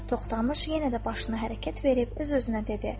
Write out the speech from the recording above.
Toxtamış yenə də başını hərəkət verib öz-özünə dedi.